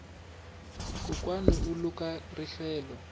kokwani u luka rihlelo